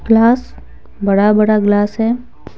Glass बड़ा बड़ा glass है।